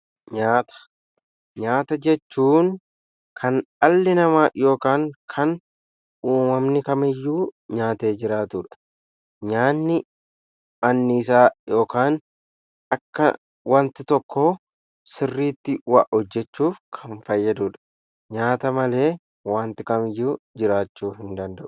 Nyaata: nyaata jechuun kan dhalli namaa yookaan kan uumamni kam iyyuu nyaate jiraatudha. Nyaanni anniisaa akka wanti tokko sirriitti waa hojjechuuf kan fayyaduudha. Nyaata malee wanti kamiyyuu jiraachuu hin danda'u.